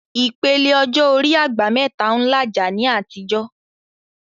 Ìpele ọjọ́ orí "àgbà mẹ́ta" ń làjà ní àtijọ́